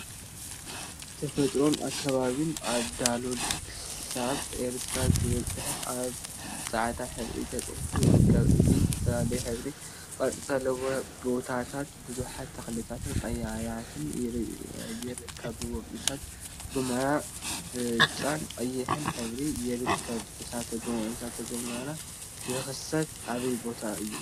ተፈጥሮን አከባቢን ካብ ዳሎል ክሳብ ኤርታሌ ዝብል ፅሑፍ አብ ፃዕዳ ሕብሪ ተፃሒፉ ይርከብ፡፡ እዚ ዝተፈላለዩ ሕብሪን ቅርፂን ዘለዎም ቦታታት ቡዙሓት ተክሊታትን ቀላያትን ይርከቡዎም፡፡ እሳተ ጎመራ ብጫን ቀይሕን ሕብሪ ይርከብ፡፡ እሳተ ጎመራ ዝክሰት አበይ ቦታ እዩ?